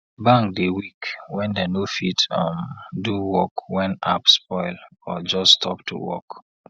bank dey weak wen dem no fit um do work wen app spoil or just stop to work